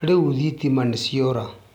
Rĩu thitima nĩciora